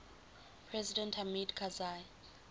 president hamid karzai